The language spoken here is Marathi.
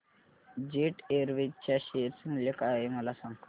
जेट एअरवेज च्या शेअर चे मूल्य काय आहे मला सांगा